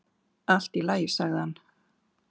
"""Allt í lagi, sagði hann."""